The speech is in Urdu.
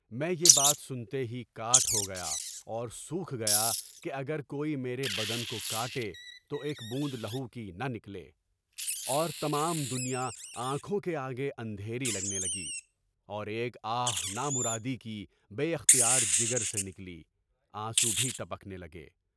میں یہ بات سنتے ہی کاٹ ہوگیا اور سوکھ گیا کہ اگر کوئی میرے بدن کو کاٹے تو ایک بوند خون کی نہ نکلے، اور تمام دنیا آنکھوں کے آگے اندھیرا لگنے لگی، اور ایک آہ نامرادی کی بےاختیار جگر سے نکلی، آنسو بھی ٹپکنے لگے۔